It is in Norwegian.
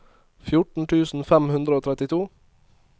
fjorten tusen fem hundre og trettito